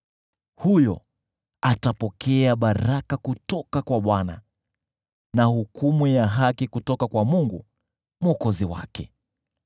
Huyo atapokea baraka kutoka kwa Bwana , na hukumu ya haki kutoka kwa Mungu Mwokozi wake.